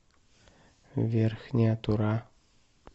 верхняя тура